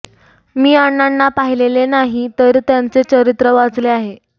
मी अण्णांना पाहीलेले नाही तर त्यांचे चरित्र वाचले आहे